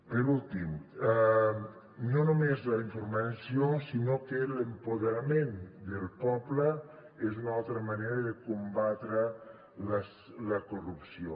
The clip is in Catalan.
per últim no només la informació sinó que l’empoderament del poble és una altra manera de combatre la corrupció